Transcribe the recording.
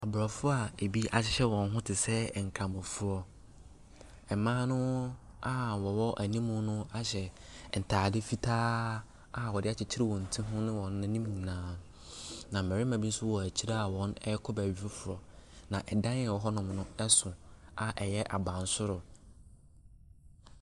Aborɔfo a ebi ahyehyɛ wɔn ho te sɛ nkramofoɔ. Mmaa no a wɔwɔ anim no ahyɛ ntade fitaa a wɔde akyekyere wɔn ti ho ne wɔn anim nyinaa. Na mmarima bi nso wɔ akyire a wɔrekɔ baabi foforɔ, na dan a ɛwɔ hɔnom no no so a ɛyɛy abansoro.